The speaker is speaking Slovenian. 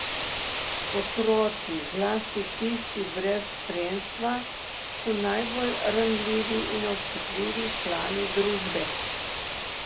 Otroci, zlasti tisti brez spremstva, so najbolj ranljivi in občutljivi člani družbe.